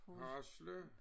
Halse